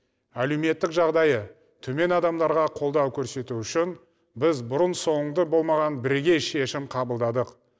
әлеуметтік жағдайы төмен адамдарға қолдау көрсету үшін біз бұрын соңды болмаған бірегей шешім қабылдадық